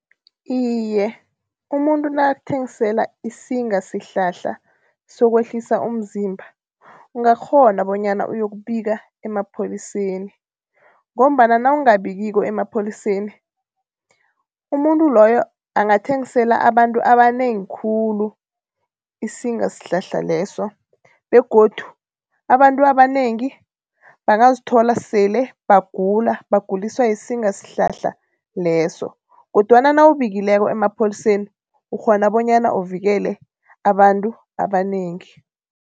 Iye, umuntu nakakuthengisela isingasihlahla sokwehlisa umzimba ungakghona bonyana ayokubika emapholiseni ngombana nawungabikiko emapholiseni umuntu loyo angathengisela abantu abanengi khulu isingasihlahla leso. Begodu abantu abanengi bangazithola sele bagula baguliswa yisingasihlahla leso kodwana nawubikileko emapholiseni ukghona bonyana uvikele abantu abanengi.